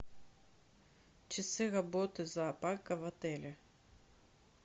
часы работы зоопарка в отеле